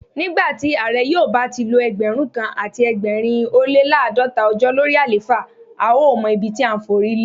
Nígbàtí Ààrẹ yóò bá tilo Ẹgbẹ̀rún kan àti ẹgbẹ̀rin ólé l'àádọ́ta ọjọ́ lórí àléfà, a ó mọ ibití à ńforílé.